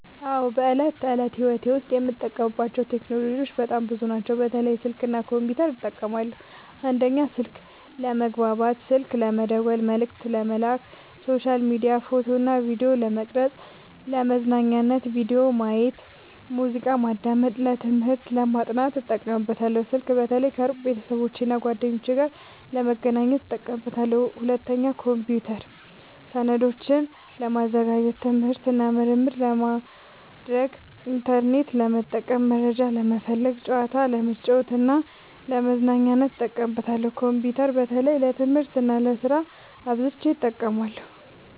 አዎ፣ በዕለት ተዕለት ሕይወቴ ዉስጥ የምጠቀምባቸው ቴክኖሎጂዎች በጣም ብዙ ናቸው፣ በተለይ ስልክ እና ኮምፒውተር እጠቀማለሁ። 1. ስልክ፦ ለመግባባት (ስልክ መደወል፣ መልዕክት መላክ)፣ሶሻል ሚዲያ፣ ፎቶ እና ቪዲዮ ለመቅረጵ፣ ፣ለመዝናኛነት(ቪዲዮ ማየት፣ ሙዚቃ ማዳመጥ)፣ ለትምህርት(ለማጥናት) እጠቀምበታለሁ። ስልክ በተለይ ከሩቅ ቤተሰቦቼና እና ጓደኞቼ ጋር ለመገናኘት እጠቀምበታለሁ። 2. ኮምፒውተር፦ ሰነዶችን ለማዘጋጀት፣ ትምህርት እና ምርምር ለማድረግ፣ ኢንተርኔት ለመጠቀም (መረጃ ለመፈለግ)፣ ጨዋታ ለመጫወት እና ለመዝናኛነት እጠቀምበታለሁ። ኮምፒውተር በተለይ ለትምህርት እና ለስራ አብዝቸ እጠቀማለሁ።